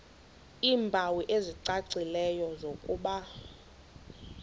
iimpawu ezicacileyo zokuba